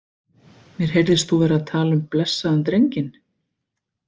Mér heyrðist þú vera að tala um blessaðan drenginn.